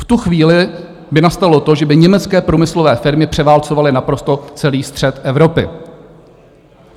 V tu chvíli by nastalo to, že by německé průmyslové firmy převálcovaly naprosto celý střed Evropy.